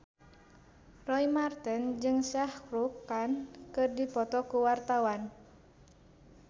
Roy Marten jeung Shah Rukh Khan keur dipoto ku wartawan